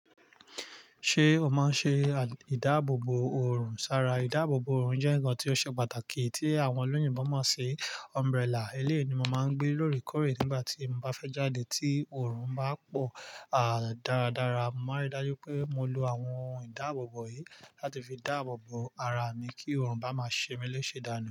Ṣé o máa ń ṣe ìdáàbòbò òrùn sára? Ìdáàbòbò òrùn jẹ́ ǹnkan tí ó ṣe pàtàkì tí àwọn olóyinbo mo ṣi. Umbrella, eléyii ni mo máa ń gbé lóorekoore nígbà tí mo bá fẹ́ jáde tí òrùn bá pọ̀. Àá, dáradára, mo máa n rí dájú wipé mo lo àwọn ìdáàbòbò yìí láti fi dáàbòbò ara mi kí òrùn bá máa ṣe mi léṣe dànù.